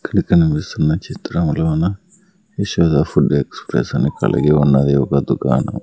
ఇక్కడ కనిపిస్తున్న చిత్రములోన యశోద ఫుడ్ ఎక్స్ప్రెస్ అని కలిగి ఉన్నది ఒక దుకాణం.